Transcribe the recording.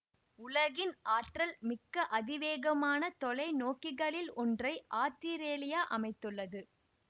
உலகின் ஆற்றல் மிக்க அதிவேகமான தொலைநோக்கிகளில் ஒன்றை ஆத்திரேலியா அமைத்துள்ளது